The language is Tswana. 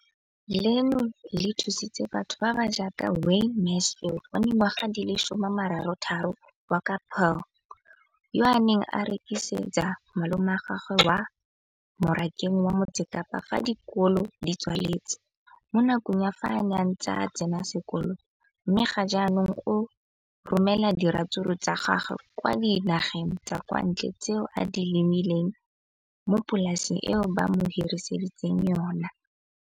Leno le thusitse batho ba ba jaaka Wayne Mansfield, 33, wa kwa Paarl, yo a neng a rekisetsa malomagwe kwa Marakeng wa Motsekapa fa dikolo di tswaletse, mo nakong ya fa a ne a santse a tsena sekolo, mme ga jaanong o romela diratsuru tsa gagwe kwa dinageng tsa kwa ntle tseo a di lemileng mo polaseng eo ba mo hiriseditseng yona.